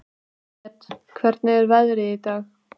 Briet, hvernig er veðrið í dag?